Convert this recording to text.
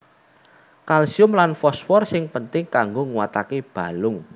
Kalsium lan fosfor sing penting kanggo nguataké balung